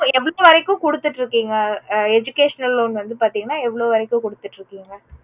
இப்போ எவ்ளோ வரைக்கும் கொடுத்துட்டு இருக்கீங்க educational loan வந்து பாத்தீங்கன்னா எவ்ளோ வரைக்கும் கொடுத்துட்டு இருக்கீங்க